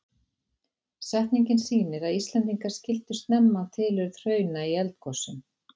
Setningin sýnir að Íslendingar skildu snemma tilurð hrauna í eldgosum.